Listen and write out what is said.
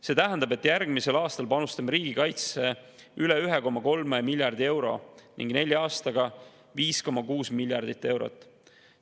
See tähendab, et järgmisel aastal panustame riigikaitsesse üle 1,3 miljardi euro ning nelja aastaga 5,6 miljardit eurot.